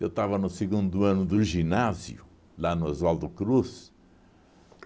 Eu estava no segundo ano do ginásio, lá no Oswaldo Cruz.